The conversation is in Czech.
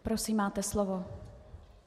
Prosím, máte slovo.